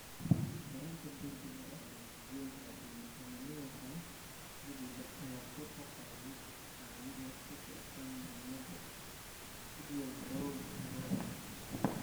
Korodhka degdega ah ee masiibooyinka cimilada la xidhiidha ayaa kor u qaadaya wacyiga ku saabsan muhiimada u diyaargarowga musiibada.